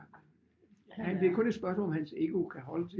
Det er kun et spørgsmål om han ego kan holde til det